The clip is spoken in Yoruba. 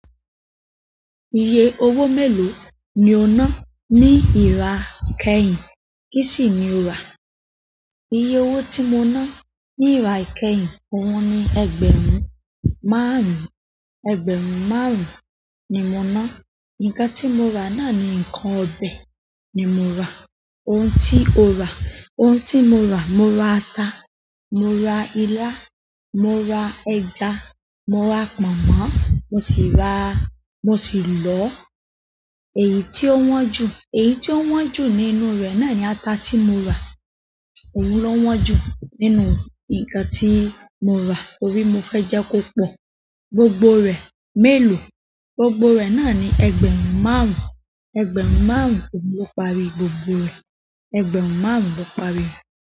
Iye owó mélòó ni o ná ní ìra kẹ́yìn? Kí sì ni o rà? Iye owó tí mo ná ní ìra kẹ́yìn, òun ni ẹgbẹ̀rún márùn-ún. Ẹgbẹ̀rún márùn ni mo na, nǹkan ti mo ra naani nǹkan ọbẹ̀ ni mo ra. Òun tí o rà. Òun tí mo rà, mo ra ata, mo ra ilá, mo ra ẹja, mo ra pọ̀nmọ́, mo sì ra-- mo sì lọo. Èyí tí ó wọ́n jù, èyí tí ó wọ́n jù nínú rẹ̀ náà ni ata tí mo rà. Òun ló wọ́n jù nínú ǹkan tí mo rà torí mo fẹ́ jẹ́ kó pọ̀. Gbogbo rẹ̀ mélòó? Gbogbo re naani ẹgbẹ̀rún márùn, ẹgbẹ̀rún márùn oun lo parí gbogbo re. Ẹgbẹ̀rún márùn-ún ló parí rẹ̀.